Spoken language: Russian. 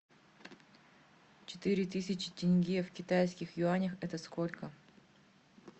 четыре тысячи тенге в китайских юанях это сколько